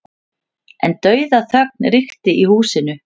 En dauðaþögn ríkti í húsinu.